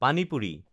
পানী পুৰি